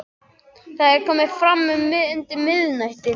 Það er komið fram undir miðnætti.